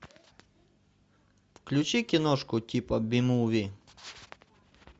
включи киношку типа би муви